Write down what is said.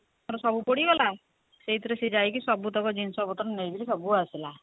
ସବୁ ପୋଡିଗଲା ସେଇଥିରେ ସେ ଯାଇକି ସବୁ ଜିନିଷ ପତ୍ର ନେଇକିରି ସବୁ ଆସିଲା